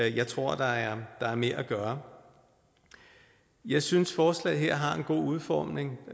ikke jeg tror der er mere at gøre jeg synes forslaget her har en god udformning